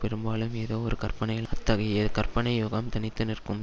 பெரும்பாலும் ஏதோ ஒரு கற்பனையில் அத்தகைய கற்பனை யுகம் தனித்து நிற்கும்